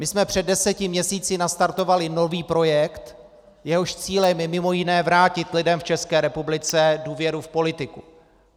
My jsme před deseti měsíci nastartovali nový projekt, jehož cílem je mimo jiné vrátit lidem v České republice důvěru v politiku.